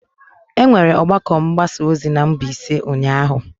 E nwere ọgbakọ mgbasa ozi na Mbaise ụnyahụ.